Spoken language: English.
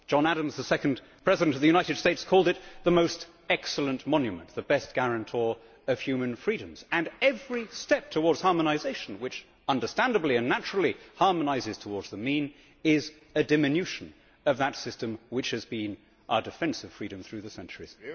John Adams, the second president of the United States, called it the most excellent monument, the best guarantor of human freedoms, and every step towards harmonisation, which understandably and naturally harmonises towards the mean is a diminution of that system, which has been our defence of freedom through the centuries.